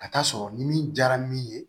Ka taa sɔrɔ ni min diyara min ye